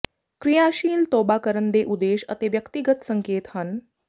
ਕਿਰਿਆਸ਼ੀਲ ਤੋਬਾ ਕਰਨ ਦੇ ਉਦੇਸ਼ ਅਤੇ ਵਿਅਕਤੀਗਤ ਸੰਕੇਤ ਹਨ